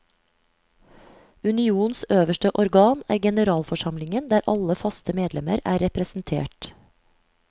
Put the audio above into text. Unionens øverste organ er generalforsamlingen der alle faste medlemmer er representert.